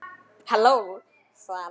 Halló, svaraði hann.